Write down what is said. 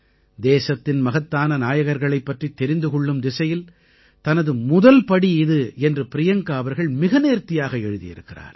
தேசத்தின் மகத்தான நாயகர்களைப் பற்றித் தெரிந்து கொள்ளும் திசையில் தனது முதல் படி இது என்று பிரியங்கா அவர்கள் மிக நேர்த்தியாக எழுதியிருக்கிறார்